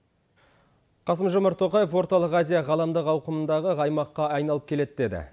қасым жомарт тоқаев орталық азия ғаламдық ауқымындағы аймаққа айналып келеді деді